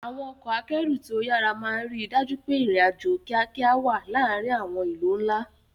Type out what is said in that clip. Àwọn ọkọ̀ akẹ́rù tí ó yára máa ń rí i dájú pé ìrìn-àjò kíákíá wà láàárín àwọn ìlú ńlá.